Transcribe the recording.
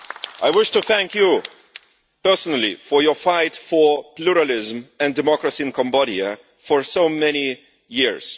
I wish to thank you personally for your fight for pluralism and democracy in Cambodia for so many years.